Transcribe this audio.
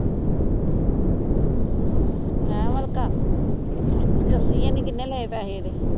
ਹੈਂ ਉਏ ਅਲਕਾ, ਦੱਸੀ ਇਹਨੇ ਕਿੰਨੇ ਪੈਸੇ ਲਏ ਉਹਦੇ।